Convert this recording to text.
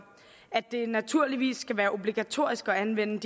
at det naturligvis skal være obligatorisk at anvende